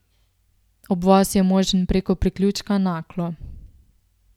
Obvoz je možen preko priključka Naklo.